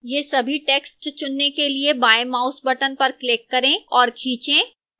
यह सभी text चुनने के लिए बाएं mouse button पर click करें और खींचें